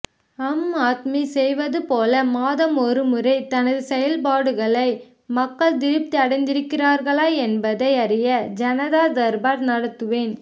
அம் ஆத்மி செய்வதுபோல மாதம் ஒருமுறை தனது செயல்பாடுகளை மக்கள் திருப்தி அடைந்திருக்கிறார்களா ஏன்பதை அறிய ஜனதா தர்பார் நடத்துவேன்